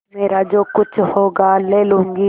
मेरा जो कुछ होगा ले लूँगी